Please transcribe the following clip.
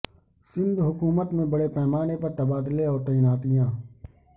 سندھ حکومت میں بڑے پیمانے پر تبادلے اور تعیناتیاں